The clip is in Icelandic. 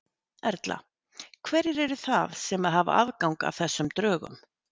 Erla: Hverjir eru það sem að hafa aðgang að þessum drögum?